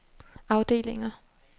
afdelinger